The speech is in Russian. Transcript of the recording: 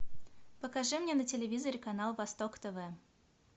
покажи мне на телевизоре канал восток тв